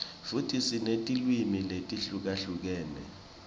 futsi sinetilwimi letihlukahlukene